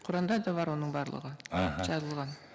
құранда да бар оның барлығы аха жазылған